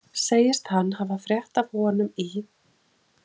Segist hann hafa frétt af honum í